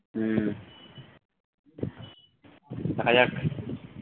হুম দেখা যাক